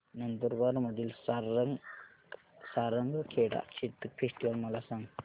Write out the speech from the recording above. नंदुरबार मधील सारंगखेडा चेतक फेस्टीवल मला सांग